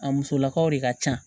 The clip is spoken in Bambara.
A musolakaw de ka ca